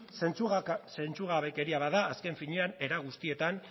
zentzugabekeria bada azken finean era guztietan